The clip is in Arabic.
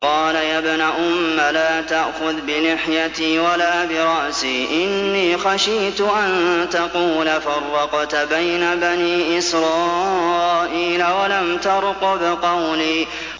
قَالَ يَا ابْنَ أُمَّ لَا تَأْخُذْ بِلِحْيَتِي وَلَا بِرَأْسِي ۖ إِنِّي خَشِيتُ أَن تَقُولَ فَرَّقْتَ بَيْنَ بَنِي إِسْرَائِيلَ وَلَمْ تَرْقُبْ قَوْلِي